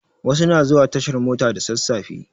Wasu na zuwa tashar mota da sasafe